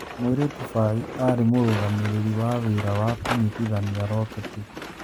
Mũirĩtu Bai arĩ mũrũgamĩrĩri na wĩra wa kũnyitithania roketi.